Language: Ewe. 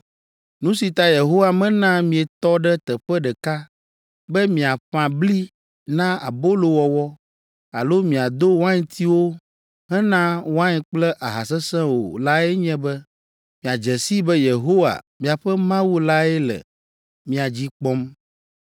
Nu si ta Yehowa mena mietɔ ɖe teƒe ɖeka be miaƒã bli na abolowɔwɔ alo miado waintiwo hena wain kple aha sesẽ o lae nye be miadze sii be Yehowa, miaƒe Mawu lae le mia dzi kpɔm.